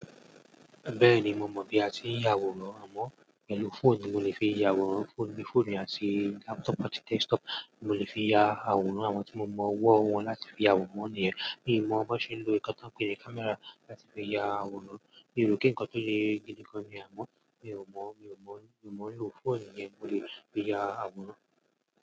Bẹ́ẹ̀ni, mo mọ̀ bí a ti ń ya àwòrán àmọ́ pẹ̀lú fóònù, mo lè fi ya àwòrán fóònù ní fóònù àti laptop àti desktop, mo lè fi ya àwòrán àwọn tí mo mọ̀ ọwọ́ wọn láti fi àwòrán wọ́n nìyẹn. Mi ò mọ̀ bó ṣe ń lo nǹkan tí wọ́n ń pè ní camera láti fi ya àwòrán. Mi rò pé nǹkan tó le gidigán ni àmọ́, mi ò mọ̀, mi ò mọ̀, mi ò mọ̀ ló fóònù yẹn mo lè fi ya àwòrán.